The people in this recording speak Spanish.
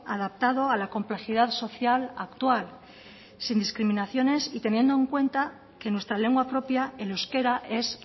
adaptado a la complejidad social actual sin discriminaciones y teniendo en cuenta que nuestra lengua propia el euskera es